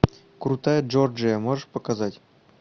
крутая джорджия можешь показать